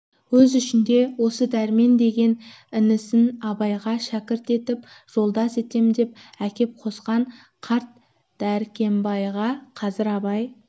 өз ішінде осы дәрмен деген інісін абайға шәкірт етіп жолдас етем деп әкеп қосқан қарт дәркембайға қазір абай